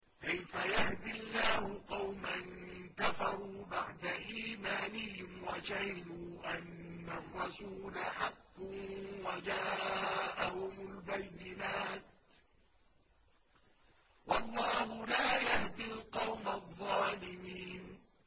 كَيْفَ يَهْدِي اللَّهُ قَوْمًا كَفَرُوا بَعْدَ إِيمَانِهِمْ وَشَهِدُوا أَنَّ الرَّسُولَ حَقٌّ وَجَاءَهُمُ الْبَيِّنَاتُ ۚ وَاللَّهُ لَا يَهْدِي الْقَوْمَ الظَّالِمِينَ